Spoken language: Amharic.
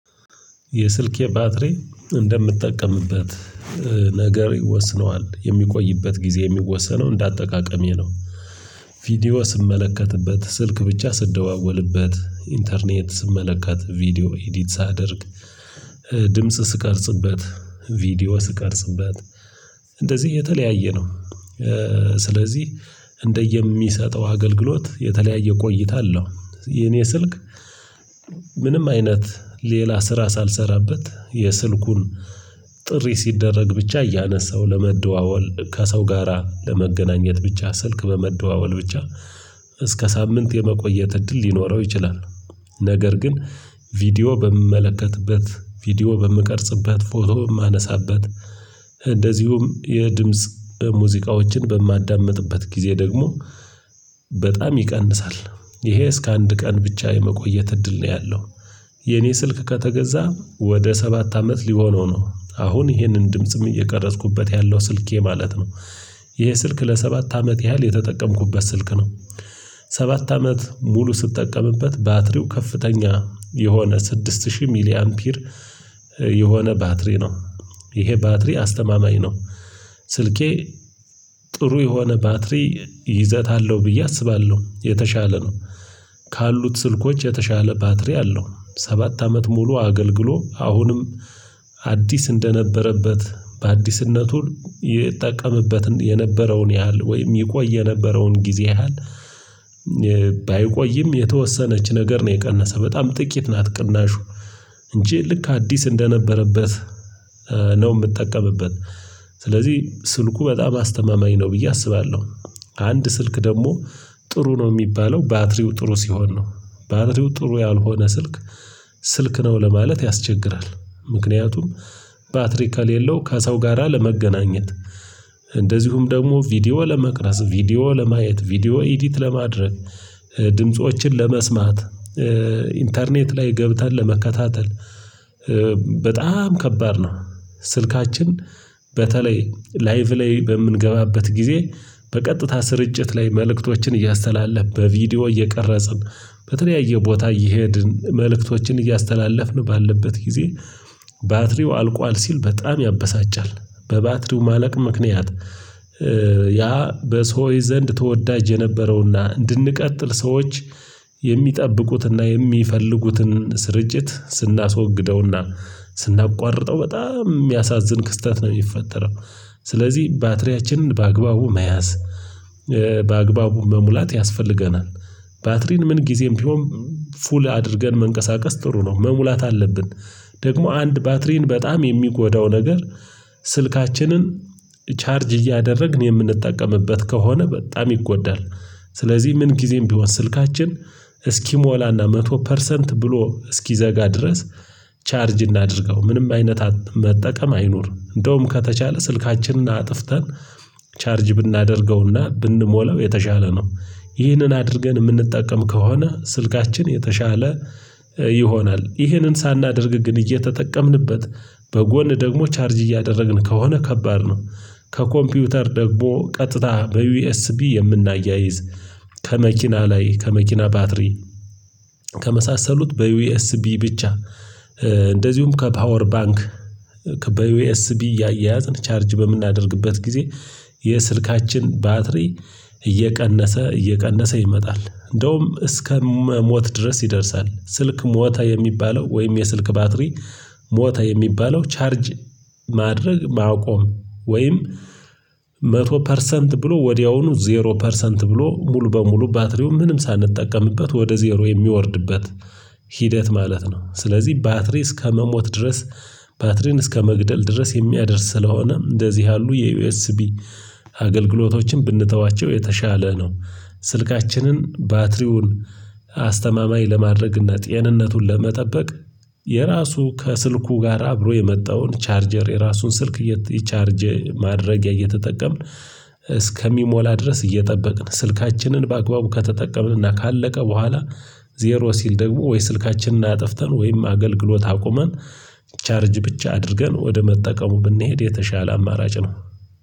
የስልኬ ባትሪ እንደምጠቀምበት ነገር ይወስነዋል የሚቆይበት ጊዜ የሚወሰነው እንደ አጠቃቀሜ ነው። ቪዲዮ ስመለከትበት ስልክ ብቻ ስትደዋወልበት ኢንተርኔት ስመለከት ቪዲዮ ኤዲት ሳደርግ ድምጽ ስቀርጽበት ቪዲዮ ስቀርጽበት እንደዚህ የተለያየ ነው። ስለዚህ እንደየሚሰጠው አገልግሎት የተለያየ ቆይታ አለው የኔ ስልክ። ምንም አይነት ሌላ ስራ ሳልሰራበት የስልኩን ጥሪ ሲደረግ ብቻ እያነሳው ለመደዋወል ከሰው ጋራ ለመገናኘት ብቻ ስልክ በመደዋወል ብቻ እስከ ሳምንት የመቆየት እድል ሊኖረው ይችላል። ነገር ግን ቪዲዮ በምመለከትበት ቪዲዮ በምቀርጽበት ፎቶ በማነሳበት እንደዚሁም የድምጽ ሙዚቃዎችን በማዳምጥበት ጊዜ ደግሞ በጣም ይቀንሳል። ይሄ እስከ አንድ ቀን ብቻ የመቆየት እድል ነው ያለው። የኔ ስልክ ከተገዛ ወደ ሰባት አመት ሊሆነው ነው አሁን ይሄንን ድምጽም እየቀረጽኩበት ያለው ስልኬ ማለት ነው። ይሄ ስልክ ለሰባት አመት ያህል የተጠቀምኩበት ስልክ ነው። ሰባት አመት ሙሉ ስጠቀምበት ባትሪው ከፍተኛ የሆነ ስድስት ሺህ ሚሊ አምፒር የሆነ ባትሪ ነው። ይሄ ባትሪ አስተማማኝ ነው። ስልኬ ጥሩ የሆነ ባትሪ ይዘት አለው ብዬ አስባለሁ የተሻለ ነው። ካሉት ስልኮች የተሻለ ባትሪ አለው ሰባት አመት ሙሉ አገልግሎ አሁንም አዲስ እንደነበረበት በአዲስነቱ የ እጠቀምበትን የነበረውን ያህል ወይም ይቆይ የነበረውን ጊዜ ያህል። ባይቆይም የተወሰነች ነገር ነው የቀነሰ በጣም ጥቂት ናት ቅናሹ እንጂ ልክ አዲስ እንደነበረበት ነው የምጠቀምበት። ስለዚህ ስልኩ በጣም አስተማማኝ ነው ብዬ አስባለሁ። አንድ ስልክ ደግሞ ጥሩ ነው የሚባለው ባትሪው ጥሩ ሲሆን ነው። ባትሪው ጥሩ ያልሆነ ስልክ ስልክ ነው ለማለት ያስቸግራል። ምክንያቱም ባትሪ ከሌለው ከሰው ጋራ ለመገናኘት እንደዚሁም ደግሞ ቪዲዮ ለመቅረጽ ቪዲዮ ለማየት ቪዲዮ ኤዲት ለማድረግ ድምፆችን ለመስማት ኢንተርኔት ላይ ገብተን ለመከታተል በጣም ከባድ ነው። ስልካችን በተለይ ላይቭ ላይ በምንገባበት ጊዜ በቀጥታ ስርጭት ላይ መልእክቶችን እያስተላለፍን በቪዲዮ እየቀረጽን በተለያየ ቦታ እየሄድን መልእክቶችን እያስተላለፍን ባለበት ጊዜ ባትሪው አልቋል ሲል በጣም ያበሳጫል። በባትሪው ማለቅ ምክንያት ያ በሰዎች ዘንድ ተወዳጅ የነበረውና እንድንቀጥል ሰዎች የሚጠብቁትንና የሚፈልጉትን ስርጭት ስናስወግደውና ስናቋርጠው በጣም የሚያሳዝን ክስተት ነው የሚፈጠረው። ስለዚህ ባትሪያችንን በአግባቡ መያዝ በአግባቡ መሙላት ያስፈልገናል። ባትሪን ምን ጊዜም ቢሆን ፉል አድርገን መንቀሳቀስ ጥሩ ነው መሙላት አለብን። ደግሞ አንድ ባትሪን በጣም የሚጎዳው ነገር ስልካችንን ቻርጅ እያደረግን የምንጠቀምበት ከሆነ በጣም ይጎዳል። ስለዚህ ምን ጊዜም ቢሆን ስልካችን እስኪሞላና መቶ ፐርሰንት ብሎ እስኪዘጋ ድረስ ቻርጅ እናድርገው ምንም አይነት አፕ መጠቀም አይኑር እንደውም ከተቻለ ስልካችንን አጥፍተን ቻርጅ ብናደርገውና ብንሞላው የተሻለ ነው። ይህንን አድርገን የምንጠቀም ከሆነ ስልካችን የተሻለ ይሆናል ይህንን ሳናደርግ ግን እየተጠቀምንበት በጎን ደግሞ ቻርጅ እያደረግን ከሆነ ከባድ ነው። ከኮምፒውተር ደግሞ ቀጥታ በዩኤስቢ የምናያይዝ ከመኪና ላይ ከመኪና ባትሪ ከመሳሰሉት በዩኤስቢ ብቻ እንደዚሁም ከፓወር ባንክ ከበዩኤስቢ ያያዝን ቻርጅ በምናደርግበት ጊዜ የስልካችን ባትሪ እየቀነሰ እየቀነሰ ይመጣል። እንደውም እስከ መሞት ድረስ ይደርሳል። ስልክ ሞተ የሚባለው ወይም የስልክ ባትሪ ሞተ የሚባለው ቻርጅ ማድረግ ማቆም ወይም መቶ ፐርሰንት ብሎ ወዲያውኑ ዜሮ ፐርሰንት ብሎ ሙሉ በሙሉ ባትሪው ምንም ሳንጠቀምበት ወደ ዜሮ የሚወርድበት። ሂደት ማለት ነው። ስለዚህ ባትሪ እስከመሞት ድረስ ባትሪን እስከመግደል ድረስ የሚያደርስ ስለሆነም እንደዚህ ያሉ የዩኤስቢ አገልግሎቶችን ብንተዋቸው የተሻለ ነው። ስልካችንን ባትሪውን አስተማማኝ ለማድረግና ጤንነቱን ለመጠበቅ የራሱ ከስልኩ ጋር አብሮ የመጣውን ቻርጀር የራሱን ስልክ የቻርጅ ማድረጊያ እየተጠቀምን። እስከሚሞላ ድረስ እየጠበቅን ስልካችንን በአግባቡ ከተጠቀምንና ካለቀ በኋላ ዜሮ ሲል ደግሞ ወይ ስልካችንን አጥፍተን ወይም አገልግሎት አቁመን ቻርጅ ብቻ አድርገን ወደ መጠቀሙ ብንሄድ የተሻለ አማራጭ ነው።